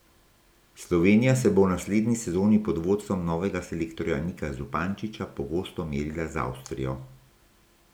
Slovenija se bo v naslednji sezoni pod vodstvom novega selektorja Nika Zupančiča pogosto merila z Avstrijo.